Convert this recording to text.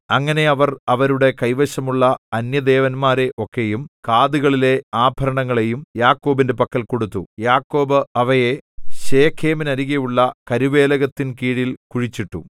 അങ്ങനെ അവർ അവരുടെ കൈവശമുള്ള അന്യദേവന്മാരെ ഒക്കെയും കാതുകളിലെ ആഭരണങ്ങളെയും യാക്കോബിന്റെ പക്കൽ കൊടുത്തു യാക്കോബ് അവയെ ശെഖേമിനരികെയുള്ള കരുവേലകത്തിൻ കീഴിൽ കുഴിച്ചിട്ടു